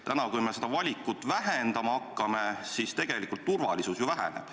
Täna, kui me seda valikut vähendama hakkame, tegelikult ju turvalisus väheneb.